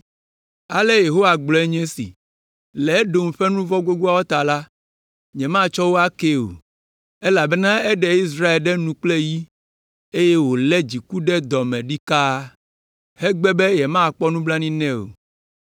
Ale Yehowa gblɔe nye esi: “Le Edom ƒe nu vɔ̃ gbogboawo ta la, nyematsɔ wo akee o, elabena eɖe Israel ɖe nu kple yi, eye wòlé dziku ɖe dɔ me ɖikaa, hegbe be yemakpɔ nublanui nɛ o.